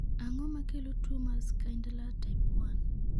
Ang'o makelo tuwo mar Schindler type 1?